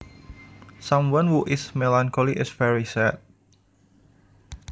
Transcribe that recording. Someone who is melancholy is very sad